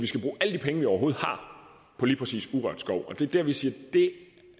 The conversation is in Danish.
at de penge vi overhovedet har på lige præcis urørt skov og det er der vi siger